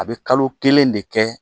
A bɛ kalo kelen de kɛ